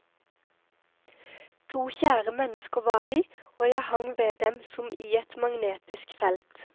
To kjære mennesker var de, og jeg hang ved dem som i et magnetisk felt.